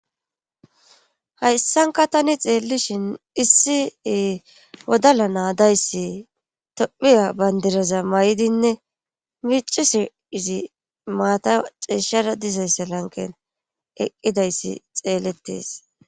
hayssanka tani xeellishin issie wodala naadayssi tophiya bandiraza may7dinne micise izi maata ceeshshara dizaysse lanken eqqidayssi xeellettes